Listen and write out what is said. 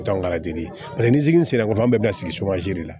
nizini sera k'o an bɛ bila sigi de la